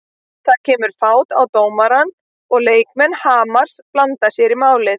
Það kemur fát á dómarann og leikmenn Hamars blanda sér í málið.